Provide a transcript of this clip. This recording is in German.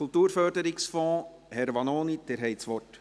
Kulturförderungsfonds: Herr Vanoni, Sie haben das Wort.